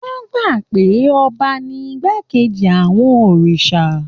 Wọ́n gbà pé ọba ní igbákejì àwọn òrìṣà